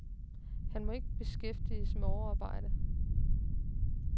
Han må ikke beskæftiges med overarbejde.